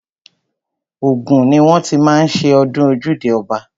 Ògùn ni wọ́n ti má ń ṣe ọdún ojúde ọba.